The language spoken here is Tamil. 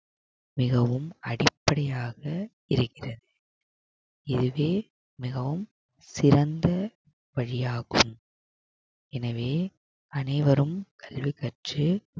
மிகவும் அடிப்படையாக இருக்கிறது இதுவே மிகவும் சிறந்த பள்ளியாகும் எனவே அனைவரும் கல்வி கற்று